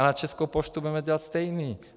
A na Českou poštu budeme dělat stejné.